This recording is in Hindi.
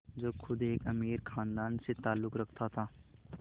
जो ख़ुद एक अमीर ख़ानदान से ताल्लुक़ रखता था